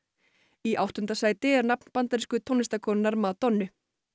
í áttunda sæti er nafn bandarísku Madonnu